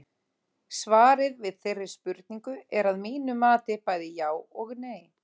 Svarið við þeirri spurningu er að mínu mati bæði já og nei.